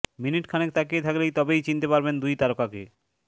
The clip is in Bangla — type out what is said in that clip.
মিনিট খানেক তাকিয়ে থাকলেই তবেই চিনতে পারবেন দুই তারকাকে